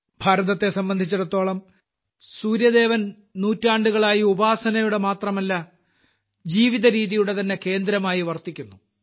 ഭാരതത്തെ സംബന്ധിച്ചിടത്തോളം സൂര്യദേവൻ നൂറ്റാണ്ടുകളായി ഉപാസനയുടെ മാത്രമല്ല ജീവിതരീതിയുടെതന്നെ കേന്ദ്രമായി വർത്തിക്കുന്നു